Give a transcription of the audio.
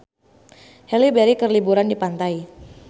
Halle Berry keur liburan di pantai